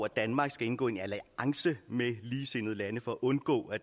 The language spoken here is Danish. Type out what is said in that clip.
danmark skal indgå en alliance med ligesindede lande for at undgå at